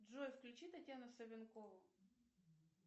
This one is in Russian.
джой включи татьяна савенкова